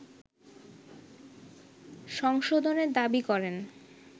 সংশোধনের দাবি করেন